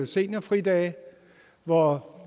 seniorfridage hvor